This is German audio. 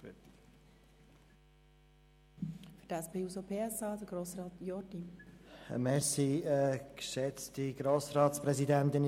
Für die SP-JUSO-PSA-Fraktion hat Grossrat Jordi das Wort.